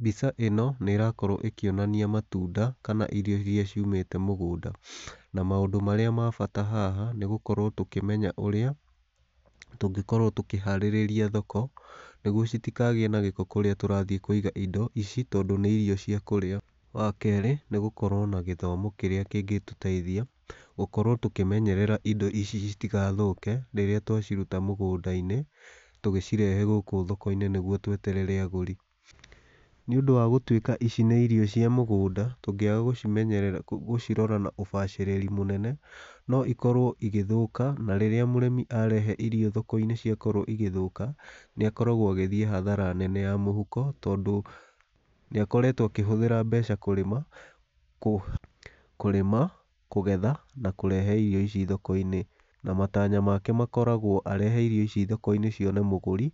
Mbica ĩno, nĩ ĩrakorwo ĩkĩonania matunda kana irio iria ciumĩte mũgũnda, na maũndũ marĩa mabata haha nĩ gũkorwo tũkĩmenya ũrĩa tũngĩkorwo tũkĩharĩrĩria thoko, nĩguo citikagĩe na gĩko kũrĩa tũrathiĩ kũiga indo ici tondũ nĩ irio cia kũrĩa. Wakerĩ nĩ gũkorwo na gĩthomo kĩrĩa kĩngĩtũteithia gũkorwo tũkĩmenyerera indo ici citigathũke rĩrĩa twaciruta mũgũnda-inĩ, tũgĩcirehe gũkũ thoko-inĩ nĩgu tweterere agũri. Nĩũndũ wa gũtwĩka ici nĩ irio cia mũgũnda, tũngĩaga gũcimenyerera gũcirora na ũbacĩrĩri mũnene, no ikorwo igĩthũka na rĩrĩa mũrĩmi arehe irio thoko-inĩ ciakorwo igĩthũka, nĩ akoragwo agĩthiĩ hathara nene ya mũhuko tondũ nĩakoretwo akĩhũthĩra mbeca kũrĩma, kũrĩma, kũgetha na kũrehe irio ici thoko-inĩ, na matanya make makoragwo arehe irio ici thoko-inĩ cione mũgũri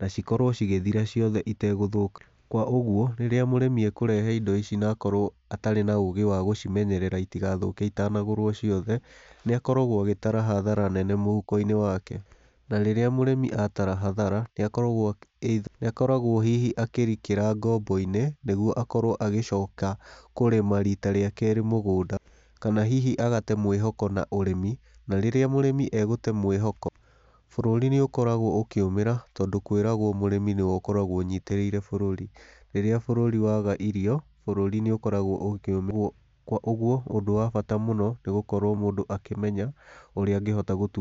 na cikorwo cigĩthira ciothe itagũthũka. Koguo rĩrĩa mũrĩmi akũrehe indo ici na akorwo atarĩ na ũgĩ wa gũcimenyerera itigathũke itanagũrwo ciothe, nĩ akoragwo agĩtara hathara nene mũhuko-inĩ wake, na rĩrĩa mũrĩmi atara hathara nĩ akoragwo akoragwo hihi akĩrikĩra ngombo-inĩ, nĩguo akorwo agĩcoka kũrĩma rita rĩa kerĩ mũgũnda, kana hihi agate mwĩhoko na ũrĩmi, na rĩrĩa mũrĩmi agũte mwĩhoko, bũrũri nĩ ũkoragwo ũkĩũmĩra, tondũ kwĩragwo mũrĩmi nĩwe ũkoragwo ũnyitĩrĩire bũrũri, rĩrĩa bũrũri waga irio, bũrũri nĩ ũkoragwo ũkĩũmwo, kwa ũguo ũndũ wa bata mũno nĩ gũkorwo mũndũ akĩmenya ũrĩa angĩhota gũtu.